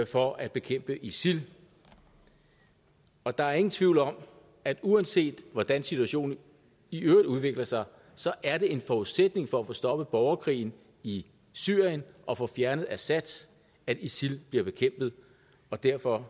for at bekæmpe isil og der er ingen tvivl om at uanset hvordan situationen i øvrigt udvikler sig så er det en forudsætning for at få stoppet borgerkrigen i syrien og få fjernet assad at isil bliver bekæmpet og derfor